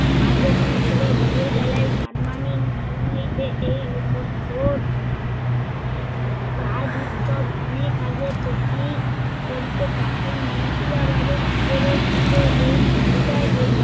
আগমন করে ভোরের বেলায় জার্মানি নিম্ন হইতে এই উপসাগর কাজ উৎসব অনেক আগে থেকেই করিতে থাকেন। মুর্শিদাবাদে নগরের কাছে এই জায়গায়